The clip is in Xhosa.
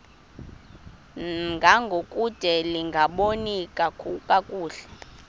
ngangokude lingaboni kakuhle